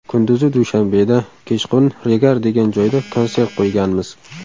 Kunduzi Dushanbeda, kechqurun Regar degan joyda konsert qo‘yganmiz.